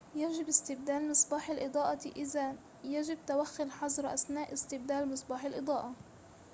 يجب استبدال مصباح الإضاءة إذاً يجب توخّي الحذر أثناء استبدال مصباح الإضاءة